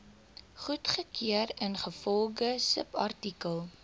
goedgekeur ingevolge subartikel